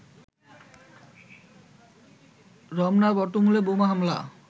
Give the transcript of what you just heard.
রমনা বটমূলে বোমা হামলা